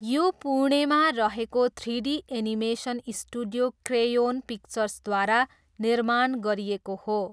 यो पुणेमा रहेको थ्रिडी एनिमेसन स्टुडियो क्रेयोन पिक्चर्सद्वारा निर्माण गरिएको हो।